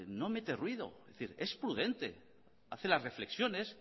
no mete ruido es prudente hace las reflexiones